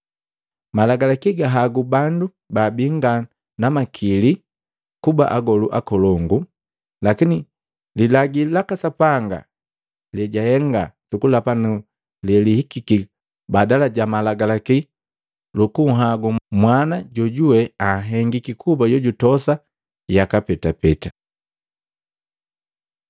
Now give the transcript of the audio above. Malagalaki gahagu bandu baabi nga na makili kuba agolu akolongu; lakini lilagi laka Sapanga lejahenga sukulapa na lelihikiki baada ja malagalaki lunhagwi Mwana jojuwe anhengiki kuba jojutosa yaka petapeta.